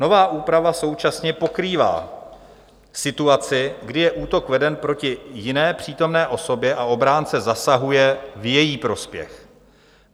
Nová úprava současně pokrývá situaci, kdy je útok veden proti jiné přítomné osobě a obránce zasahuje v její prospěch.